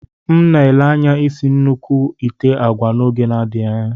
M na-ele anya isi nnukwu ite agwa n'oge na-adịghị anya.